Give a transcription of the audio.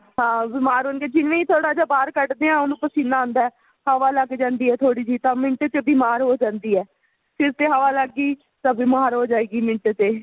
ਹਾਂ ਬੀਮਾਰ ਹੋਣਗੇ ਜਿਵੇਂ ਹੀ ਥੋੜਾ ਜਾ ਬਾਹਰ ਕੱਢਦੇ ਉਹਨੂੰ ਪਸੀਨਾ ਆਉਦਾ ਹੈਂ ਹਵਾ ਲੱਗ ਜਾਂਦੀ ਹੈਂ ਥੋੜੀ ਜੀ ਤਾਂ ਮਿੰਟ ਚ ਬੀਮਾਰ ਹੋ ਜਾਂਦੀ ਹੈਂ ਸਿਰ ਤੇ ਹਵਾ ਲੱਗ ਗਈ ਤਾ ਬੀਮਾਰ ਹੋ ਜਾਏਗੀ ਮਿੰਟ ਤੇ